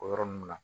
O yɔrɔ ninnu na